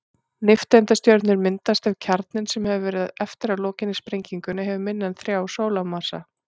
Nifteindastjörnur myndast ef kjarninn, sem verður eftir að lokinni sprengingunni, hefur minna en þrjá sólarmassa.